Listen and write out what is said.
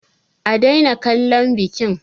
A daina kallon bikin!